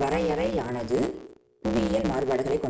வரையறையானது புவியியல் மாறுபாடுகளைக்